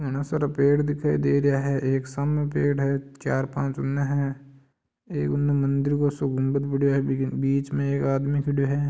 घणा सारा पेड़ दिखाई दे रहा है इ सामने पेड़ है चार पाच उस तरफ है ये उन मंदिर को सो गुंबद है बिच में एक आदमी खड़ा है।